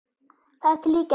Þar til í gær.